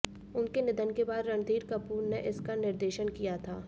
उनके निधन के बाद रणधीर कपूर ने इसका निर्देशन किया था